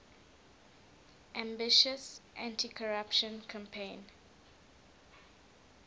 ambitious anticorruption campaign